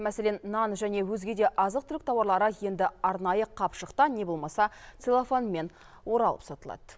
мәселен нан және өзге де азық түлік тауарлары енді арнайы қапшықта не болмаса целлофанмен оралып сатылады